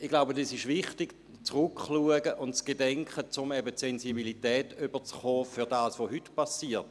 Ich glaube, es ist wichtig, zurückzuschauen und zu gedenken, um eben die Sensibilität zu bekommen für das, was heute passiert.